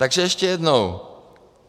Takže ještě jednou.